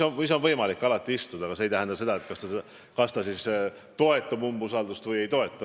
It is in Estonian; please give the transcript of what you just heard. Alati on võimalik siin istuda, aga see pole märk, kas ta toetab umbusaldamist või ei toeta.